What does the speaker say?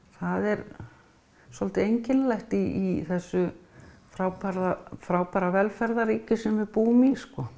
það er svolítið einkennilegt í þessu frábæra frábæra velferðarríki sem við búum í